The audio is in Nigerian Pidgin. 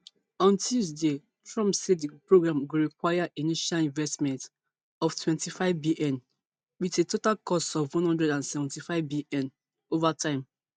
on tuesday trump say di programme go require initial investment of twenty-fivebn wit a total cost of one hundred and seventy-fivebn ova time